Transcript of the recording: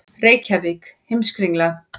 Reykjavík: Heimskringla.